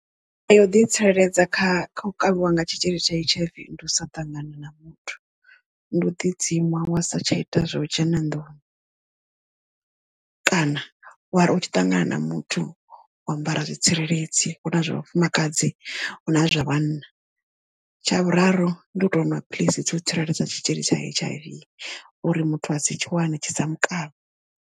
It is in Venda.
Nḓila ya u ḓi tsireledza kha kha u kavhiwa nga tshitzhili tsha H_I_V ndi u sa ṱangana na muthu ndi u ḓi dzima wa sa tsha ita zwa u dzhena nduni, kana wari u tshi ṱangana na muthu wa ambara zwitsireledzi hu na zwa vhafumakadzi hu na zwa vhanna tsha vhuraru ndi u to nwa phiḽisi dza u tsireledza tshitzhili tsha H_I_V uri muthu a si tshi wane tshisa mukavhe.